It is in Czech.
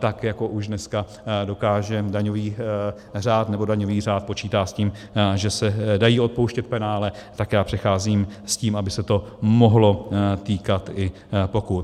Tak jako už dneska dokáže daňový řád, nebo daňový řád počítá s tím, že se dají odpouštět penále, tak já přicházím s tím, aby se to mohlo týkat i pokut.